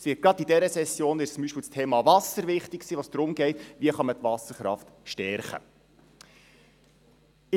Gerade in dieser Session zum Beispiel ist das Thema Wasser wichtig, es geht darum, wie man die Wasserkraft stärken kann.